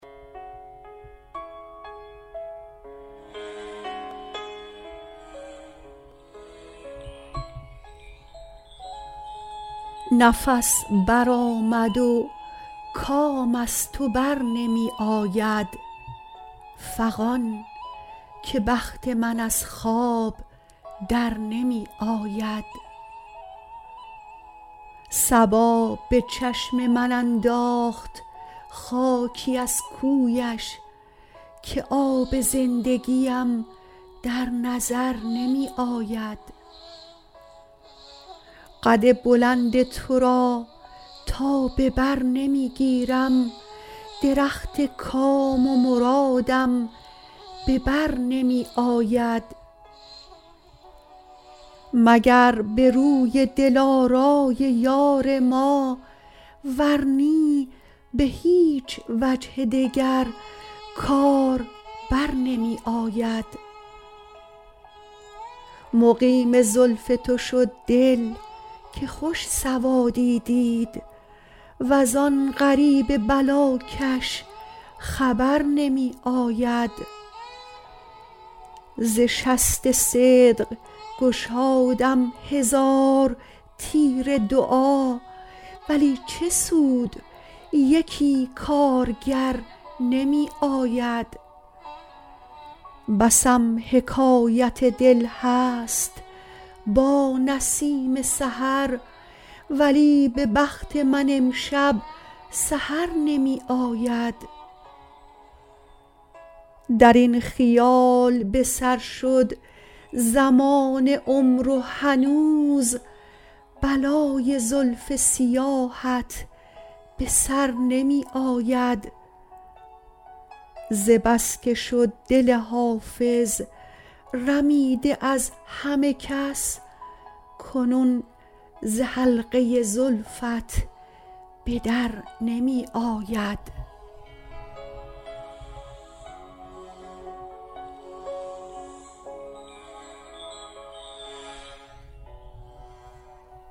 نفس برآمد و کام از تو بر نمی آید فغان که بخت من از خواب در نمی آید صبا به چشم من انداخت خاکی از کویش که آب زندگیم در نظر نمی آید قد بلند تو را تا به بر نمی گیرم درخت کام و مرادم به بر نمی آید مگر به روی دلارای یار ما ور نی به هیچ وجه دگر کار بر نمی آید مقیم زلف تو شد دل که خوش سوادی دید وز آن غریب بلاکش خبر نمی آید ز شست صدق گشادم هزار تیر دعا ولی چه سود یکی کارگر نمی آید بسم حکایت دل هست با نسیم سحر ولی به بخت من امشب سحر نمی آید در این خیال به سر شد زمان عمر و هنوز بلای زلف سیاهت به سر نمی آید ز بس که شد دل حافظ رمیده از همه کس کنون ز حلقه زلفت به در نمی آید